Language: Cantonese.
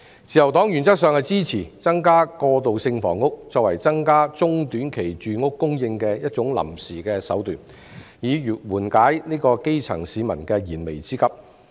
自由黨原則上支持以增加過渡性房屋作為增加中、短期住屋供應的一種臨時手段，緩解基層市民的燃眉之急。